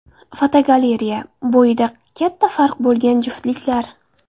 Fotogalereya: Bo‘yida katta farq bo‘lgan juftliklar.